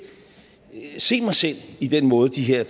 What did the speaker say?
se mig selv i den måde de her